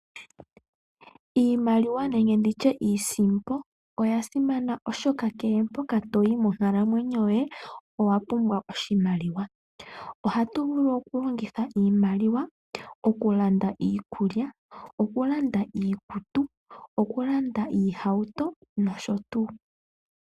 Iimaliwa nenge nditye iisimpo oyasimana molwaashoka kehe mpoka toyi monkalamwenyo yoye owapumbwa iimaliwa, ohatu vulu okulongitha oshimaliwa okulanda iikutu, oohauto, iikulya nosho tuu.